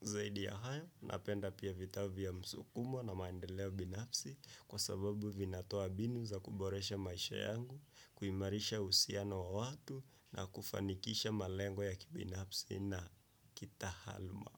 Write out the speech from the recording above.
Zaidi ya hayo napenda pia vitabu vya msukumo na maendeleo binafsi kwa sababu vinatoa mbinu za kuboresha maisha yangu, kuimarisha uhusiano wa watu na kufanikisha malengo ya kibinafsi na kitaaluma.